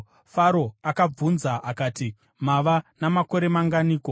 Faro akavabvunza akati, “Mava namakore manganiko?”